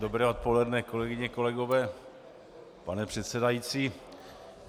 Dobré odpoledne, kolegyně, kolegové, pane předsedající.